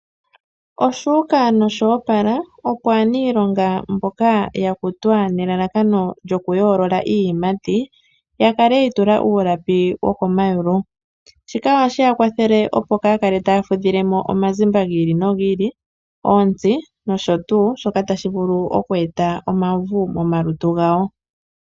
Oshu uka nosho opala opo aanilonga mboka ya kutwa nelalakano lyokuyoolola iiyimati ya kale yi itula uulapi wokomayulu, shika osheya kwathele opo kaa ya kale taa fudhile mo omazimba gi ili nogi ili, oontsi nosho tuu shoka tashi vulu oku eta omauvu momalutu gawo.